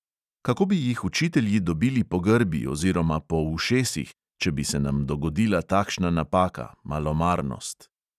Kako bi jih učitelji dobili po grbi oziroma po ušesih, če bi se nam dogodila takšna napaka, malomarnost.